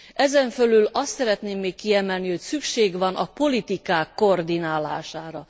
Ezen fölül azt szeretném még kiemelni, hogy szükség van a politikák koordinálására.